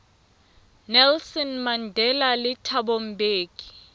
nelson mandela le thabo mbeki